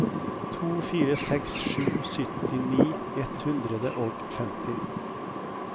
to fire seks sju syttini ett hundre og femti